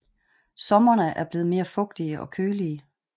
Sommerene er blevet mere fugtige og kølige